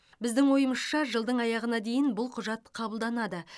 біздің ойымызша жылдың аяғына дейін бұл құжат қабылданады